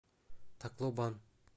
таклобан